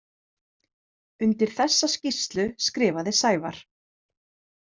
Undir þessa skýrslu skrifaði Sævar.